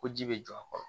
Ko ji bɛ jɔ a kɔrɔ